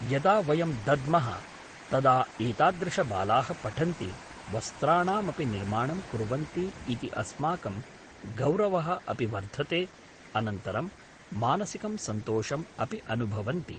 यदा वयं दद्म: तदा एतादृशबाला: पठन्ति वस्राणामपि निर्माणं कुर्वन्ति इति अस्माकं गौरव: अपि वर्धते अनन्तरं मानसिकं सन्तोषम् अपि अनुभवन्ति